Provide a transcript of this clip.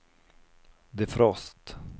defrost